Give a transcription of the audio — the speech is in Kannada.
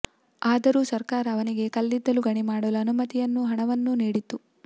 ಆದರೂ ಸರ್ಕಾರ ಅವನಿಗೆ ಕಲ್ಲಿದ್ದಲು ಗಣಿ ಮಾಡಲು ಅನುಮತಿ ಯನ್ನೂ ಹಣವನ್ನೂ ನೀಡಿತು